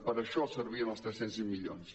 per això servien els tres cents i sis milions